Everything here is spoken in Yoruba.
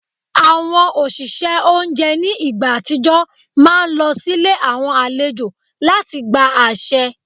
Àwọn òṣìṣẹ́ oúnjẹ ní ìgbà àtijọ́ máa ń lọ sílé àwọn àlejò láti gba àṣẹ